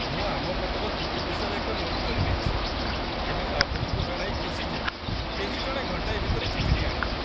ମୁଁ ଆମ ପଟର ତ୍ରୁଟି ବିଷୟରେ ଏକ ନୋଟ୍ କରିନେଇଛି, ଏବଂ ଆପଣଙ୍କୁ ଜଣାଇ ଖୁସି ଯେ କେହି ଜଣେ ଘଣ୍ଟାଏ ଭିତରେ ଚିଠିଟି ଆଣିଦେବେ।